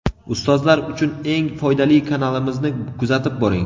Ustozlar uchun eng foydali kanalimizni kuzatib boring.